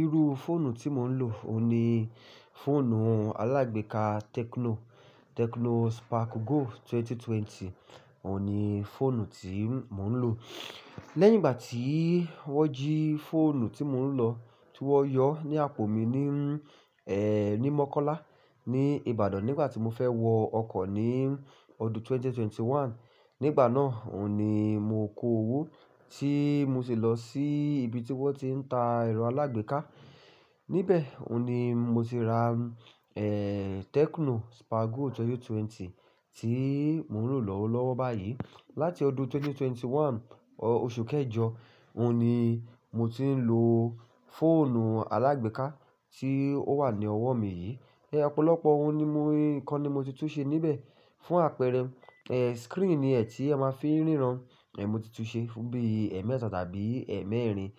Iru fóònù tí mò ń lò ó ní fóònù alágbèéká Tecno, Tecno Spark Go 2020 ó ní fóònù tí mò ń lò. Lẹ́yìn ìgbà tí wọ́n jí fóònù tí mò ń lọ, tí wọ́n yọ ní àpò mi ní, eeh, ní Mọ́kọ́lá ní Ibadan nígbà tí mo fẹ́ wọ ọkọ̀ ní ọdún 2021. Nígbà náà, òhun ní mo kò owó tí mo sì lọ sí ibi tí wọ́n ti ń ta ẹ̀rọ alágbèéká. Níbẹ̀, òhun ní mo ti ra, eeh, Tecno Spark Go 2020 tí mò ń lò lọ́wọ́lọ́wọ́ báyìí. Láti ọdún 2021 oṣù kẹjọ, òní mo ti ń lò fóònù alágbèéká tí ó wà ní ọwọ́ mi yìí. Ẹ̀ ọ́pọ̀lọpọ̀ ohun nnkan ni mo ti tún ṣe níbẹ̀. Fún àpẹẹrẹ, eeh, screen ni ẹ̀ tí a máa fi ń ríran, eeh, mo ti tún ṣe fún bí i ẹ́emẹ́ta tàbí ẹ́emẹ́rin.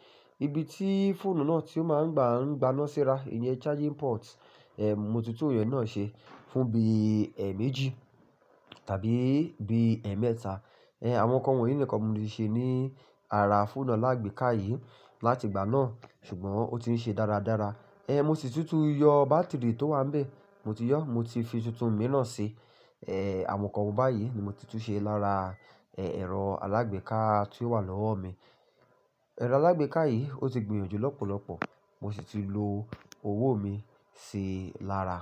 Ibi tí fóònù náà tí ó máa ń gba, ń gbaná síra, ìyẹn charging port, eeh, mo ti tún iyen náà ṣe fún bí i ẹ́eméjì tàbí bí i ẹ́emẹ́ta. Eeh, àwọn nǹkan wọ̀nyí nìkan mo ti ṣe ní ara fóònù alágbèéká yìí láti ìgbà náà, ṣùgbọ́n ó ti ń ṣe dáradára. Eeh, mo sì tún ti yọ bátìrì tó wà níbẹ̀, mo ti yọ, mo ti fi tuntun mìíràn ṣe. Eeh, àwọn nǹkan wọ̀ báyìí ni mo ti tún ṣe lára, eeh, ẹ̀rọ alágbèéká tí ó wà lọ́wọ́ mi. Ẹ̀rọ alágbèéká yìí ó ti gbìyànjú lọ́pọ̀lọpọ̀, mo sì ti lo owó mi ṣi lára.